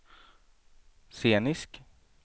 scenisk